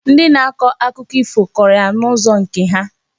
Ndị na-akọ akụkọ ifo kọrọ ya n'ụzọ nke ha.